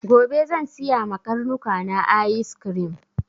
Gobe zan siya ma karnuka na ayis krim.